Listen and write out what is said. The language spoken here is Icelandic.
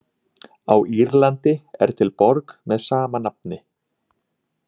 Á Írlandi er til borg með sama nafni.